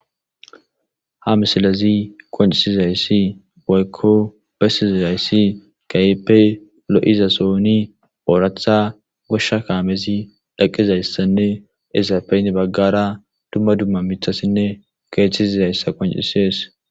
Ha misilazi qoncisizayssi goykko bessizizayssi kayeppey lo7iza sooni ooratha goshsha kaamezi dhaqizayssanne esapeyn baggara dumma dumma mithassinne keeththisizayssa qoncisees.